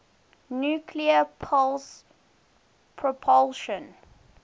nuclear pulse propulsion